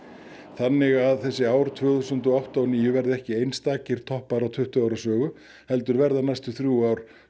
þannig að þessi ár tvö þúsund og átta og níu verða ekki einstakir toppar á tuttugu ára sögu heldur verða næstu þrjú ár